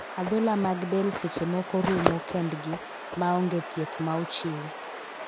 Adhola mad del seche moko rumo kend gi ma ong'e thieth ma ochiw.